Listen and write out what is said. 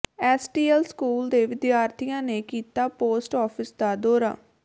STS school ਦੇ ਵਿਦਿਆਰਥੀਆਂ ਨੇ ਕੀਤਾ ਪੋਸਟ ਆਫਿਸ ਦਾ ਦੌਰਾ